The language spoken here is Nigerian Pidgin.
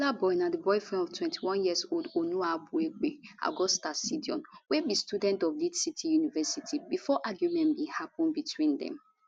killaboi na di boyfriend of 21yearold onuwabuagbe augusta osedion wey be student of lead city university bifor argument bin happun between dem